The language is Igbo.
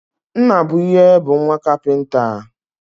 Nnabuihe bu nwa kapinta